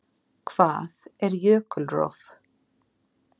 Hvað er jökulrof?